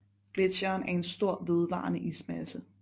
Gletsjeren er en stor vedvarende ismasse